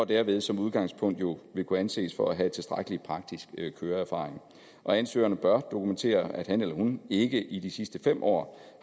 derved som udgangspunkt jo kunne anses for at have tilstrækkelig praktisk køreerfaring og ansøgeren bør dokumentere at han eller hun ikke i de sidste fem år